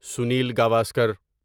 Sunil Gavaskar